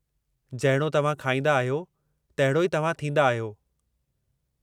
जहिड़ो तव्हां खाईंदा आहियो, तहिड़ो ई तव्हां थींदा आहियो।